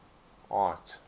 art